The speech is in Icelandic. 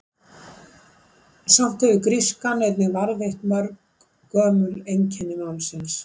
Samt hefur grískan einnig varðveitt mörg gömul einkenni málsins.